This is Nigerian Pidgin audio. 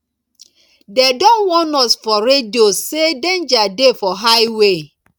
dem don warn us for radio sey danger dey for high way